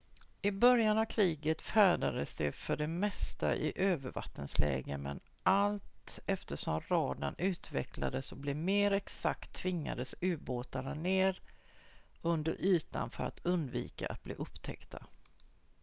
i början av kriget färdades de för det mesta i övervattensläge men allt eftersom radarn utvecklades och blev mer exakt tvingades ubåtarna ned under ytan för att undvika att bli upptäckta